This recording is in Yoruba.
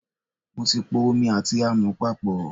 Mo ti po omi àti àmọ̀ papọ̀.